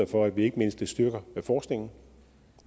for at vi ikke mindst styrker forskningen